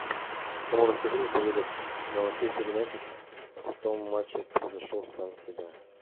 кому расскажи не поверят на манчестер юнайтед в том матчи превзошел сам себя